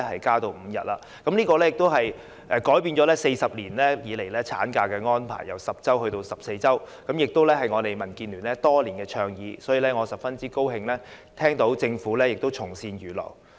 今次施政報告的建議改變了40年以來產假的安排，法定產假由10周增至14周，這亦是民建聯多年來的倡議，所以，我十分高興政府從善如流。